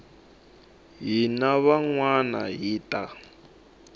hina van wana hi ta